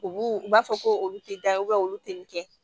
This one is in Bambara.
U b'u u b'a fɔ ko olu tɛ da yen olu tɛ nin kɛ